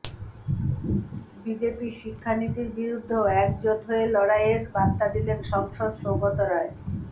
বিজেপির শিক্ষানীতির বিরুদ্ধেও একজোট হয়ে লড়াইয়ের বার্তা দিলেন সাংসদ সৌগত রায়